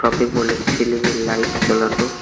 Shopping mall -এ ছিলিংয়ের -এর লাইট জ্বালানো।